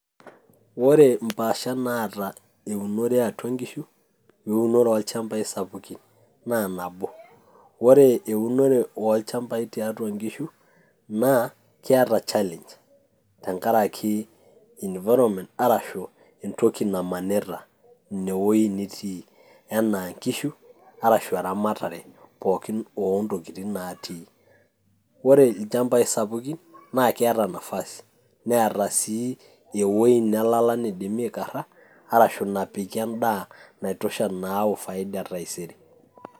ore impaashat naata eunore oonkishu ,we unore oolnchampai sapukin, naa nabo, ore eunor oo lchampai tiatua nkishu naa kiata, challenge. tenkaraki environment .arashu entoki namanita ine wueji nitii, enaa nkishu arashu eramatare, pookin oontokitin naatii, ore ilchampai sapukin naa keeta nafasi, neeta sii ewueji nelala neidimi aaikara, arashu napiki edaa naitosha napiki edaa taisere.